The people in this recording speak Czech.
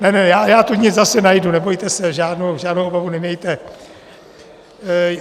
Ne, ne, já tu nit zase najdu, nebojte se, žádnou obavu nemějte.